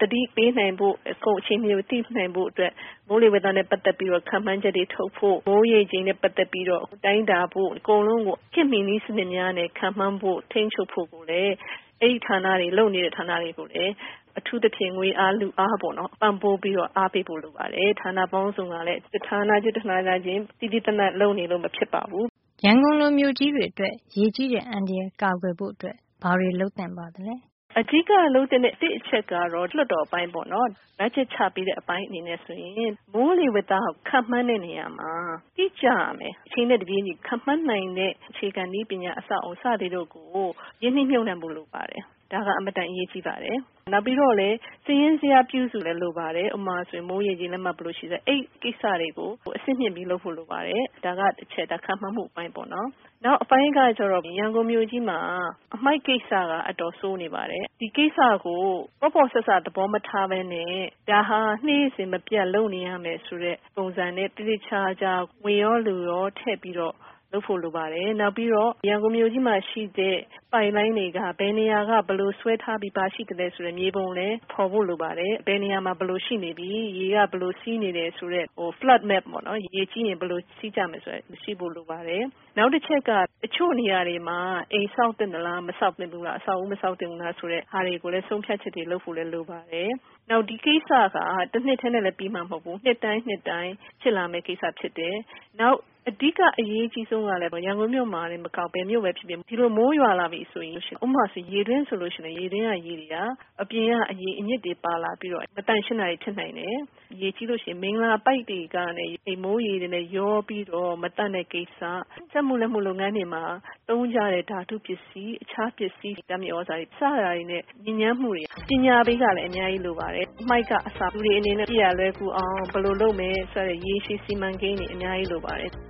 သတိပေးနိုင်ဖို့၊ အကုန် အချိန်မှီ သိနိုင်ဖို့ အတွက် မိုးလေဝဿနဲ့ ပတ်သက်တဲ့ ခန့်မှန်းချက်တွေ ထုတ်ဖို့၊ မိုးရေချိန်နဲ့ ပတ်သက်ပြီးတော့ တိုင်းတာဖို့၊ အကုန်လုံး ကို ခေတ်မှီ နည်းစံနစ်များနဲ့ ခန့်မှန်းဖို့၊ ထိန်းချုပ်ဖို့ကိုလည်း၊ အဲဒီလို လုပ်နေတဲ့ ဌာနတွေကိုလည်း အထူးသဖြင့် ငွေအား၊ လူအား ပံ့ပိုး ပြီးတော့ အားပေးဖို့ လိုပါတယ်။ ဌာန ပေါင်းစုံကလည်း တဌာနချင်း တဌာနချင်း သီးသီးသန့်သန့် လုပ်နေလို့ မဖြစ်ပါဘူး။” “အဓိက လုပ်သင့်တဲ့ ၁ အချက်ကတော့ လွှတ်တော် အပိုင်းပေါ့နော်။ ဘတ်ဂျက် ချပေးတဲ့ အပိုင်းဆိုရင် မိုးလေဝဿခန့်မှန်းတဲ့ နေရာမှာ တိကျရမယ်။ အချိန်နဲ့ တပြေးညီ ခန့်မှန်းနိုင်တဲ့ အခြေခံနည်းပညာ၊ အဆောက်အအုံ စသည်တို့ကို ရင်းနှီးမြုပ်နှံဖို့ လိုပါတယ်။ ဒါဟာ အင်မတန် အရေးကြီးပါတယ်။ နောက်ပြီးတော့ စာရင်းဇယား ပြုစု တာလည်း လိုပါတယ်။ ဥပမာအားဖြင့် မိုးရေချိန် လက်မ ဘယ်လို ရှိမလဲ အဲဒီကိစ္စတွေကို အဆင့်မြှင့်ပြီး လုပ်ဖို့ လိုပါတယ်။ ဒါက တချက်။ ဒါက ခန့်မှန်းမှု အပိုင်းပေါ့နော်။” “နောက်အပိုင်းကကျတော့ ရန်ကုန်မြို့ကြီးမှာ အမှိုက် ကိစ္စက အတော် ဆိုးနေပါတယ်။ ဒီကိစ္စကို ပေါ့ပေါ့ ဆဆ သဘောမထားပဲနဲ့၊ ဒါဟာ နေ့စဉ် မပြတ် လုပ်နေရမယ် ဆိုတဲ့ ပုံစံနဲ့ သေသေချာချာ ငွေရော လူရော ထည့်ပြီးတော့ လုပ်ဖို့ လိုပါတယ်။ နောက်ပြီးတော့ ရန်ကုန်မြို့ကြီးမှာ ရှိတဲ့ ပိုက်လိုင်းတွေက ဘယ်နေရာက ဘယ်လို ဆွဲထား ပြီးသား ရှိသလဲ ဆိုတဲ့ မြေပုံကိုလည်း ဖေါ်ဖို့ လိုပါတယ်။ ဘယ်နေရာမှာ ဘယ်လို ရှိနေပြီ၊ ရေက ဘယ်လို စီးနေတယ် ဆိုတဲ့ flood map ပေါ့နော် ရေကြီးရင် ဘယ်လိုစီးမလဲ ဆိုတာ ရှိဖို့ လိုပါတယ်။” “နောက်တချက်က တချို့နေရာတွေမှာ အိမ်ဆောက်သင့်သလား၊ အဆောက်အဦးတွေ မဆောက်သင့် ဘူးလား၊ ဆိုတဲ့ဟာတွေကိုလည်း ဆုံးဖြတ်ချက်တွေ ချဖို့ လိုပါတယ်။ နောက်တခုက ဒီကစ္စက တနှစ်ထဲနဲ့ လည်း ပြီးမှာ မဟုတ်ပါဘူး။ နှစ်တိုင်း နှစ်တိုင်း ဖြစ်လာမယ့် ကိစ္စဖြစ်တယ်၊ နောက် အဓိက အရေး အကြီးဆုံးကတော့ ဒါက ရန်ကုန်မြို့တင် မကဘူး။ ဘယ်မြို့ပဲ ဖြစ်ဖြစ် ဒီလို မိုးရွာလာ ပြီ ဆိုရင် ဥပမာအားဖြင့် ရေတွင်း ဆိုရင် ရေတွင်းကရေတွေက အပြင်က အညစ်တွေပါလာပြီးတော့ မသန့်ရှင်းတာတွေ ဖြစ်နိုင်တယ်။ နောက်ပြီးလို့ ရှိရင် မိလ္လာပိုက်တွေက မိုးရေတွေနဲ့ ရောပြီး မသန့်တဲ့ ကိစ္စ၊ စက်မှု လက်မှု လုပ်ငန်းတွေမှာ သုံးကြတဲ့ ဓါတု ပစ္စည်းတွေ၊ ဓါတ်မြေသြဇာတွေ၊ စတာတွေက ညစ်ညမ်းမှုတွေ၊ ပညာပေးကလည်း အရမ်းလိုပါတယ်။ အမှိုက်ကအစ လူတွေ အနေနဲ့ အပစ်ရ လွယ်ကူအောင် ဘယ်လို လုပ်မယ်၊ စတဲ့ ရေရှည် စီမံကိန်း တွေ အများကြီး လိုပါတယ်